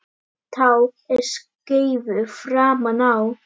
Tá er skeifu framan á.